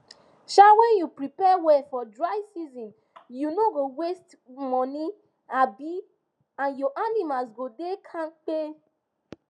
um when u prepare well for dryseason you no go waste money um and your animals go da kampe